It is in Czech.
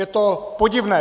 Je to podivné.